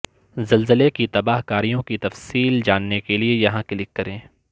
زلزلے کی تباہ کاریوں کی تفصیل جاننے کے لیے یہاں کلک کریں